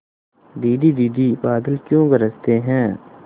दीदी दीदी बादल क्यों गरजते हैं